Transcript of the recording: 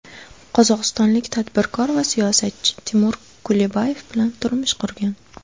Qozog‘istonlik tadbirkor va siyosatchi Timur Kulibayev bilan turmush qurgan.